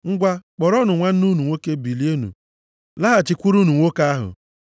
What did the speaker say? Ngwa, kpọrọnụ nwanne unu nwoke bilienụ laghachikwurunụ nwoke ahụ.